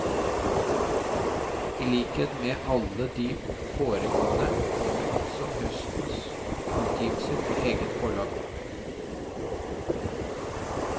I likhet med alle de foregående kommer også høstens utgivelse på eget forlag.